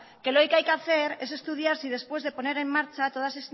que lo que hay que hacer es estudiar si después de poner en marcha todas